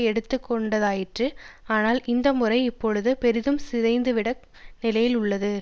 எடுக்க வேண்டியதாயிற்று ஆனால் இந்த முறை இப்பொழுது பெரிதும் சிதைந்துவிட்ட நிலையில் உள்ளது